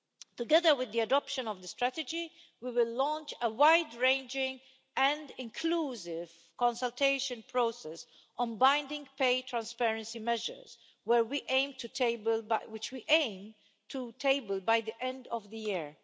Together with the adoption of the strategy, we will launch a wide ranging and inclusive consultation process on binding pay transparency measures which we aim to table by the end of the year.